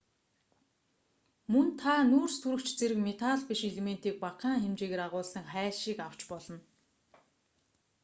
мөн та нүүрстөрөгч зэрэг металл биш элементийг багахан хэмжээгээр агуулсан хайлшийг авч болно